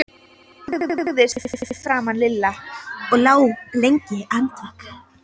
Ég lagðist fyrir framan Lilla og lá lengi andvaka.